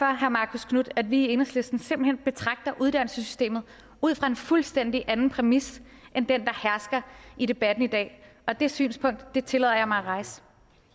herre marcus knuth at vi i enhedslisten simpelt hen betragter uddannelsessystemet ud fra en fuldstændig anden præmis end den der hersker i debatten i dag og det synspunkt tillader jeg mig at rejse